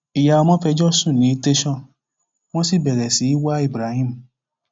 ìyá ọmọ fẹjọ sùn ní tẹsán wọn sì bẹrẹ sí í wá ibrahim